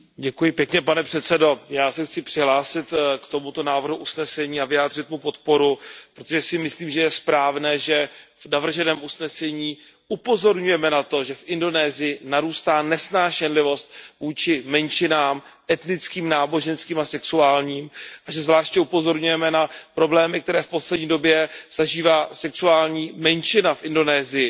Já se chci přihlásit k tomuto návrhu usnesení a vyjádřit mu podporu, protože si myslím, že je správné, že v navrženém usnesení upozorňujeme na to, že v Indonésii narůstá nesnášenlivost vůči menšinám etnickým, náboženským a sexuálním a že zvláště upozorňujeme na problémy, které v poslední době zažívá sexuální menšina v Indonésii.